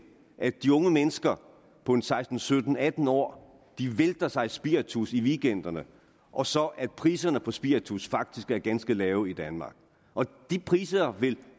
at de unge mennesker på en seksten sytten atten år vælter sig i spiritus i weekenderne og så at priserne på spiritus faktisk er ganske lave i danmark de priser vil